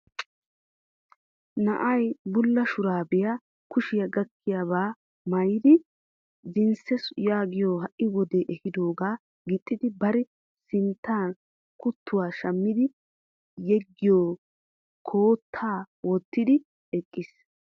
Na'ay bulla shuraabiya kushiya gakkiyabaa maayidi jinssiya yaagiyo ha"i wodee ehidoogaa gixxidi bari sinttan kuttuwa shammidi yeggiyo koottaa wottidi eqqiis.